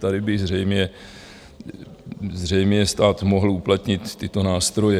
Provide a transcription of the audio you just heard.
Tady by zřejmě stát mohl uplatnit tyto nástroje.